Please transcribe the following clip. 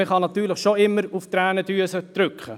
Man kann natürlich immer auf die Tränendrüse drücken.